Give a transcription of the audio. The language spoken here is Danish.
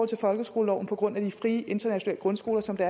til folkeskoleloven på grund af de frie internationale grundskoler som det